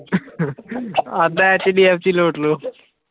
ਕਹਿੰਦਾ HDFC ਲੂਟ ਲਓ